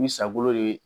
Ni sago de ye